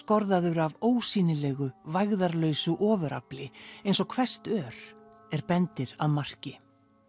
rígskorðaður af ósýnilegu vægðarlausu ofurafli eins og hvesst ör er bendir að marki